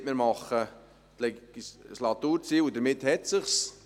Da hat man einfach gesagt, man habe jetzt die Legislaturziele, und damit hat es sich.